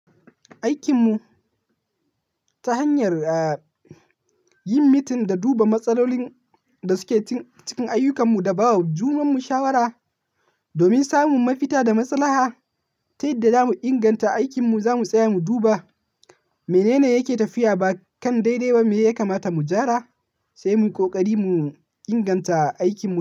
Aikinmu ta hanyar yin mitin da duba matsalolin da suke cikin ayyukanmu da ba wa junam mu shawara domin samun mafita da maslaha. Ta yadda zamu inganta aikinmu, zamu tsaya mu duba menene yake tafiya ba kan daidai ba, me ya kamata mu gyara, sai mu yi kokari mu inganta aikinmu.